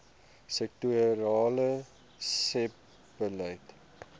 sektorale sebbeleid